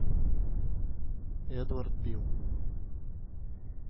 эдвард бил